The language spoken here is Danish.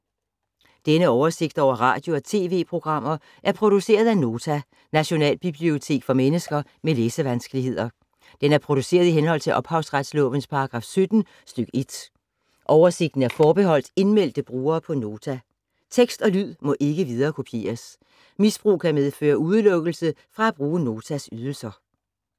Denne oversigt over radio og TV-programmer er produceret af Nota, Nationalbibliotek for mennesker med læsevanskeligheder. Den er produceret i henhold til ophavsretslovens paragraf 17 stk. 1. Oversigten er forbeholdt indmeldte brugere på Nota. Tekst og lyd må ikke viderekopieres. Misbrug kan medføre udelukkelse fra at bruge Notas ydelser.